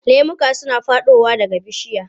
Lemuka suna faɗowa daga bishiya.